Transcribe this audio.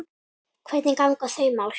Hvernig ganga þau mál?